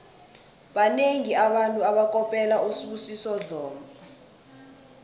banengi abantu abakopela usibusiso dlomo